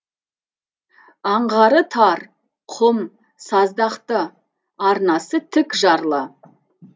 аңғары тар құм саздақты арнасы тік жарлы